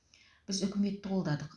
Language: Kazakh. біз үкіметті қолдадық